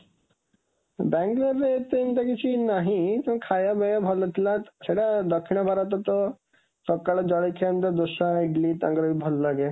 ବାଙ୍ଗାଲୋରରେ ଏତେ ଏମିତି କିଛି ନାହିଁ, ତ ଖାଇବା ପିଇବା ଭଲ ଥିଲା, ସେଇଟା ଦକ୍ଷିଣ ଭାରତ ତ ସକାଳୁ ଜଳଖିଆ ଦୋସା, ଇଡଲି ତାଙ୍କର ବି ଭଲ ଲାଗେ।